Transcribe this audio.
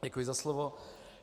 Děkuji za slovo.